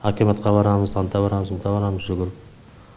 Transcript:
акиматқа барамыз анда барамыз мында барамыз жүгіріп